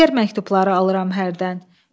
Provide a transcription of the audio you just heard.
Əsgər məktubları alıram hərdən.